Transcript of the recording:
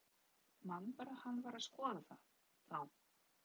Man bara að hann var að skoða þá.